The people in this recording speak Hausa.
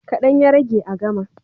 Kaɗan ya rage a gama.